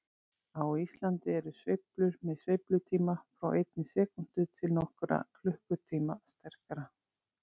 Á Íslandi eru sveiflur með sveiflutíma frá einni sekúndu til nokkurra klukkutíma sterkastar.